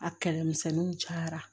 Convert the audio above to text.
A kɛlɛmisɛnninw cayara